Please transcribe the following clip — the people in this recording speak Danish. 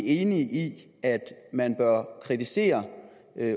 enige i at man bør kritisere